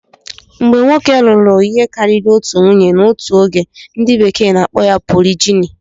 Mgbe nwoke lụrụ ihe karịrị otu nwunye n'otu oge, ndi bekee n'akpo ya polijini